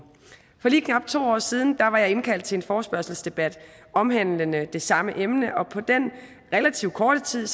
for lige knap to år siden var jeg indkaldt til en forespørgselsdebat omhandlende det samme emne og på den relativt korte tid